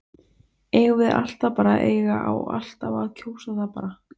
Eigum við alltaf bara að eiga, á alltaf að kjósa það bara?